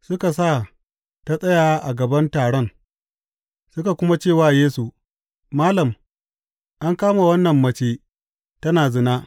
Suka sa ta tsaya a gaban taron suka kuma ce wa Yesu, Malam, an kama wannan mace tana zina.